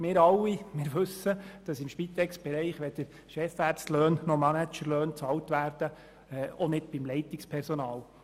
Wir alle wissen, dass im Spitexbereich weder Chefärzte- noch Managerlöhne bezahlt werden, auch nicht für das Leitungspersonal.